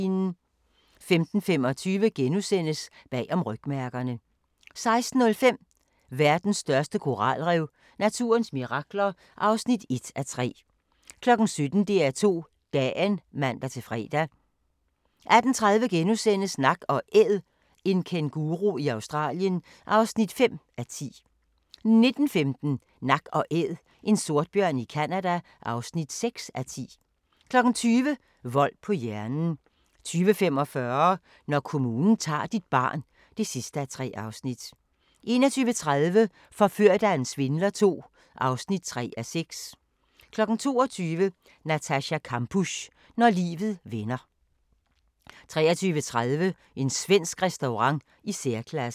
15:25: Bag om rygmærkerne * 16:05: Verdens største koralrev – naturens mirakler (1:3) 17:00: DR2 Dagen (man-fre) 18:30: Nak & Æd – en kænguru i Australien (5:10)* 19:15: Nak & Æd – en sortbjørn i Canada (6:10) 20:00: Vold på hjernen 20:45: Når kommunen tager dit barn (3:3) 21:30: Forført af en svindler II (3:6) 22:00: Natascha Kampusch – Når livet vender 23:30: En svensk restaurant i særklasse